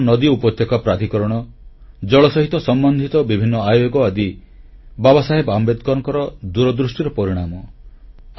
ବିଭିନ୍ନ ନଦୀ ଉପତ୍ୟକା ପ୍ରାଧିକରଣ ଜଳ ସହିତ ସମ୍ବନ୍ଧିତ ବିଭିନ୍ନ ଆୟୋଗ ଆଦି ବାବାସାହେବ ଆମ୍ବେଦକରଙ୍କ ଦୂରଦୃଷ୍ଟିର ପରିଣାମ